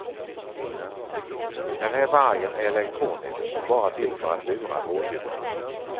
Den här vargen är elektronisk och bara till för att lura rådjuren.